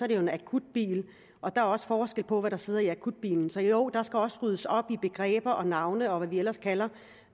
det en akutbil og der er også forskel på hvad der sidder i akutbiler så jo der skal også ryddes op i begreber og navne og hvad vi ellers kalder